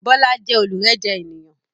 Bọlá jẹ́ olurẹ́jẹ ènìyàn